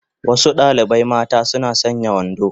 Wasu dalibai mata suna sanya wando